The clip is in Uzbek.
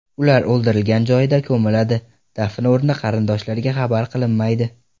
Ular o‘ldirilgan joyida ko‘miladi, dafn o‘rni qarindoshlariga xabar qilinmaydi.